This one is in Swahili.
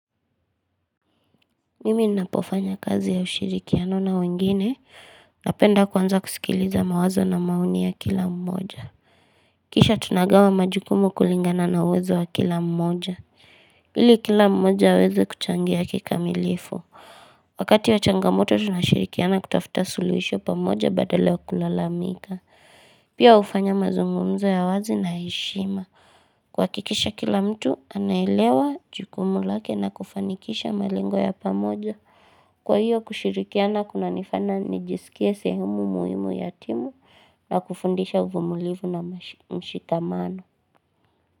Mimi ninapofanya kazi ya ushirikiano na wengine, napenda kwanza kusikiliza mawazo na maoni ya kila mmoja. Kisha tunagawa majukumu kulingana na uwezo wa kila mmoja. Ili kila mmoja aweze kuchangia kikamilifu. Wakati wa changamoto tunashirikiana kutafuta suluhisho pamoja badala ya kulalamika. Pia hufanya mazungumzo ya wazi na heshima. Kuhakikisha kila mtu, anaelewa jukumu lake na kufanikisha malengo ya pamoja. Kwa hiyo kushirikiana kuna nifana nijisikie sehemu muhimu ya timu na kufundisha uvumulivu na mshikamano.